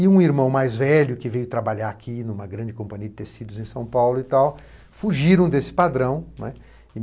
E um irmão mais velho, que veio trabalhar aqui numa grande companhia de tecidos em São Paulo, fugiram desse padrão.